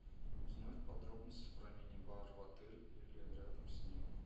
узнать подробности про мини бар в отеле или рядом с ним